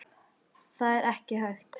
Það er ekki hægt